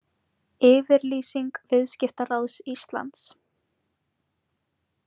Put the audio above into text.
Yfirlýsing Viðskiptaráðs Íslands